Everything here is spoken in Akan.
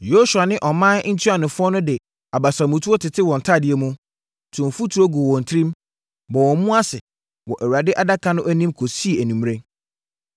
Yosua ne ɔman ntuanofoɔ de abasamutuo tetee wɔn ntadeɛ mu, too mfuturo guu wɔn tirim, bɔɔ wɔn mu ase, wɔ Awurade Adaka no anim kɔsii anwummerɛ.